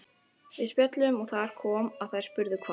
Við spjölluðum og þar kom að þær spurðu hvar